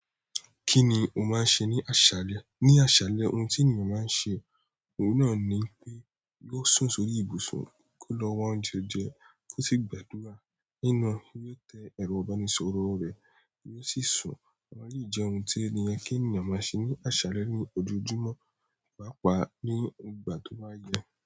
Kí ni o máa ń ṣe ní àṣálẹ́? Ní àṣálẹ́ ohun tí ènìyàn máa ń ṣe, òun náà ni pé yóò sùn sórí ibùsùn kó lọ wá oúnjẹ jẹ kí ó sì gbàdúrà lẹ́yìn na yóò tẹ ẹ̀rọ ìbánisọ̀rọ̀ rẹ̀ yóò sì sùn. Àwọn eleyi je oun ti ènìyàn maa se ni asale ni ojojumo paapa ni ìgbà to ba ye.